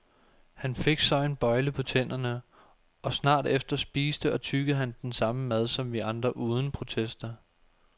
Han fik så en bøjle på tænderne, og snart efter spiste og tyggede han den samme mad som vi andre uden protester.